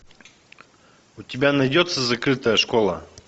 у тебя найдется закрытая школа